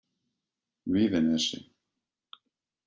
Víðinesi